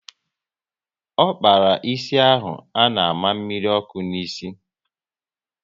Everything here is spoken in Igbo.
Ọ kpara ịsị ahụ a na àmà mmiri ọkụ n'isi